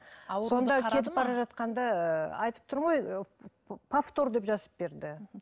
кетіп бара жатқанда ыыы айтып тұрмын ғой повтор деп жазып берді